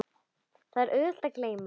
Það er auðvelt að gleyma.